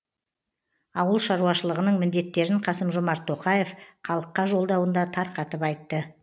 ауыл шаруашылығының міндеттерін қасым жомарт тоқаев халыққа жолдауында тарқатып айтты